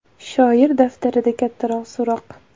Shoir daftarida kattakon so‘roq.